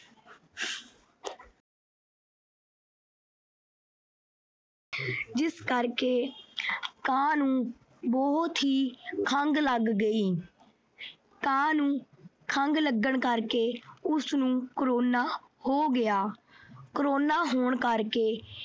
ਜਿਸ ਕਰਕੇ ਕਾਂ ਨੂੰ ਬਹੁਤ ਹੀ ਖੰਘ ਲੱਗ ਗਈ। ਕਾਂ ਨੂੰ ਖੰਘ ਲੱਗਣ ਕਰਕੇ ਉਸਨੂੰ corona ਹੋ ਗਿਆ। corona ਹੋਣ ਕਰਕੇ